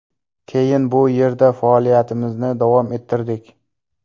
Keyin bu yerda faoliyatimizni davom ettirdik.